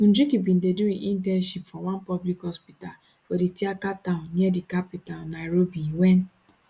njuki bin dey do im internship for one public hospital for di thiaka town near di capital nairobi wen